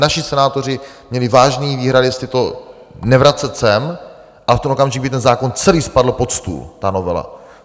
Naši senátoři měli vážné výhrady, jestli to nevracet sem, a v ten okamžik by ten zákon celý spadl pod stůl, ta novela.